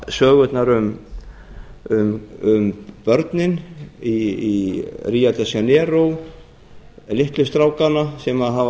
sögurnar um börnin í ríó de janeiro litlu strákana sem hafa